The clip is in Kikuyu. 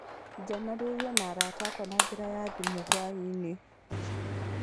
Njaranĩirie na arata akwa na njĩra ya thimũ hwainĩ.